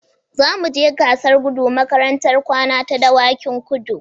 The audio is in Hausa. Za mu je gasar gudu makarantar kwana ta Dawakin kudu